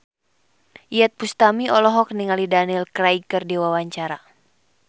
Iyeth Bustami olohok ningali Daniel Craig keur diwawancara